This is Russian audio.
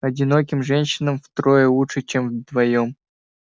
одиноким женщинам втроём лучше чем вдвоём